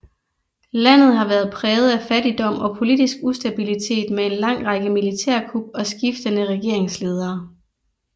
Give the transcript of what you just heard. Landet har været præget af fattigdom og politisk ustabilitet med en lang række militærkup og skiftende regeringsledere